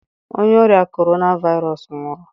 Onye ọrịa Corona Virus nwụrụ.